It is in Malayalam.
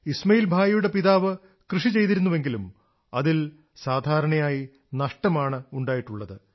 ഇസ്മാഇൽ ഭായിയുടെ പിതാവ് കൃഷി ചെയ്തിരുന്നുവെങ്കിലും അതിൽ സാധാരണയായി നഷ്ടമാണ് ഉണ്ടായിട്ടുള്ളത്